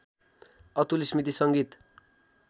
अतुल स्‍मृति संगीत